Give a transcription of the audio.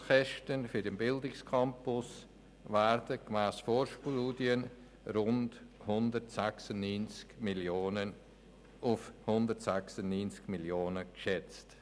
Die Gesamtkosten für den Bildungscampus werden gemäss einer Vorstudie auf rund 196 Mio. Franken geschätzt.